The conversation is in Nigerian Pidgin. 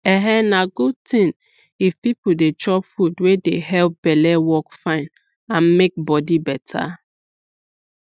um na good thing if people dey chop food wey dey help belle work fine and make body better